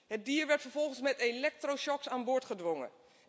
Het dier werd vervolgens met elektroshocks aan boord gedwongen.